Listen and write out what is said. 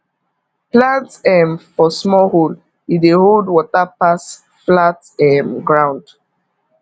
plant um for small hole e dey hold water pass flat um ground